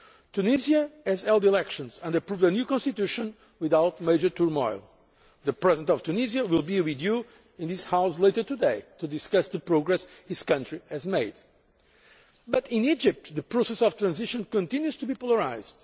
Tunisia has held elections and approved a new Constitution without major turmoil the President of Tunisia will be with you in this House later today to discuss the progress his country has made but in Egypt the process of transition continues to be polarised.